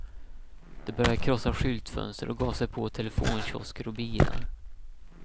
De började krossa skyltfönster och gav sig på telefonkiosker och bilar.